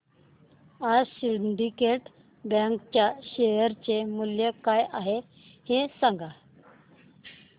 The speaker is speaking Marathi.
आज सिंडीकेट बँक च्या शेअर चे मूल्य काय आहे हे सांगा